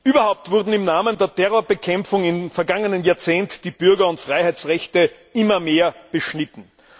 Überhaupt wurden im Namen der Terrorbekämpfung im vergangenen Jahrzehnt die Bürger und Freiheitsrechte immer mehr beschnitten.